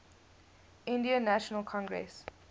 indian national congress